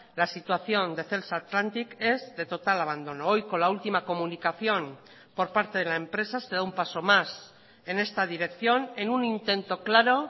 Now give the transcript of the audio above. la situación de celsa atlantic es de total abandono hoy con la última comunicación por parte de la empresa se da un paso más en esta dirección en un intento claro